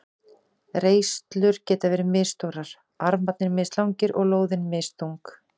Reislur geta verið misstórar, armarnir mislangir og lóðin misþung.